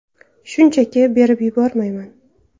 Shunchaki berib yubormayman.